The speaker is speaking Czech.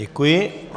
Děkuji.